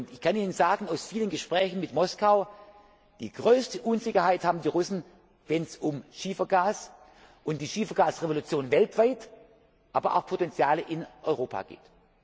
Ich kann Ihnen aus vielen Gesprächen mit Moskau sagen, die größte Unsicherheit haben die Russen, wenn es um Schiefergas die Schiefergasrevolution weltweit, aber auch Potenziale in Europa